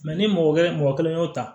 ni mɔgɔ kelen mɔgɔ kelen y'o ta